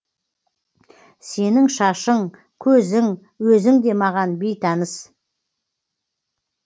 сенің шашың көзің өзің де маған бейтаныс